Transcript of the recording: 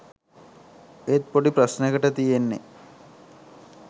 ඒත් පොඩි ප්‍රශ්නෙකට තියෙන්නෙ